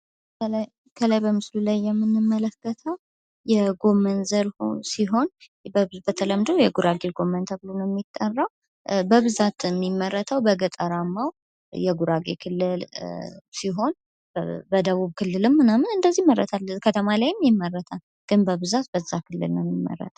በምስሉ ላይ የምንመለከተው የጎመን ዘር ሲሆን በተለምዶ የጉራጌ ጎመን ተብሎ የጠራል። በብዛት የሚመረተው በጉራጌ የገጠር ክፍል ሲሆን በደቡብ ክልልና በከተሞች አካባቢም ይመረታል።